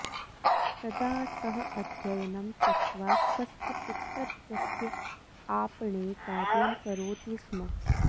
तदा सः अध्ययनं त्यक्त्वा स्वस्य पितृत्वस्य आपणे कार्यं करोति स्म